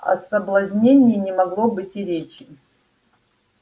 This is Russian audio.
о соблазнении не могло быть и речи